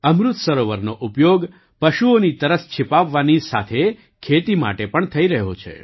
અમૃત સરોવરનો ઉપયોગ પશુઓની તરસ છિપાવવાની સાથે ખેતી માટે પણ થઈ રહ્યો છે